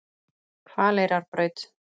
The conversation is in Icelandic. Hvaleyrarbraut